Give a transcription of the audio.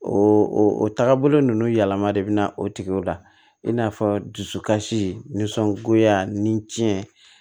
O tagabolo ninnu yɛlɛma de bɛ na o tigiw la in n'a fɔ dusukasi nisɔngoya ni c